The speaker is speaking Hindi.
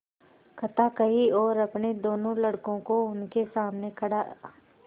कथा कही और अपने दोनों लड़कों को उनके सामने खड़ा